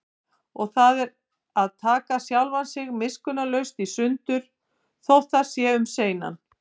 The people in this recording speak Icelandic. Og það er að taka sjálft sig miskunnarlaust í sundur, þótt það sé um seinan.